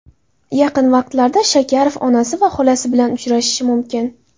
Yaqin vaqtlarda Shakarov onasi va xolasi bilan uchrashishi mumkin.